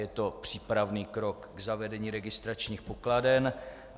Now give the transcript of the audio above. Je to přípravný krok k zavedení registračních pokladen.